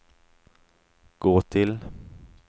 gå till